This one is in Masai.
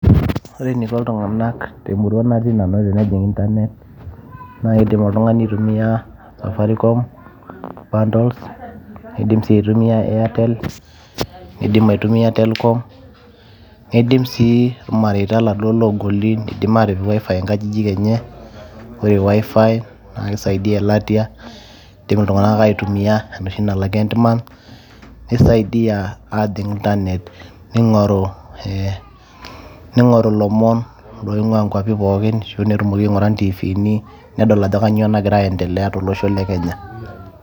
Ore eneiko ltung'anak temurua natii nanu naidim oltung'ani aitumia Safaricom bundles, niindim sii atumia airtel bundles, nindim aitumia telkom, nidim sii irmareita logoli atipik wifi nkajijik enye ,ore wifi na keisaidia elatia ,indim ltung'anak aitumia enoshi nalak endmonth nisaidia ajing' internet ning'oru ee ning'oru lomon oing'ua nkwapi pookin netumoki aing'ura ntifini netum atayiolo ajo kanyio nagira aiendelea tolosho le kenya.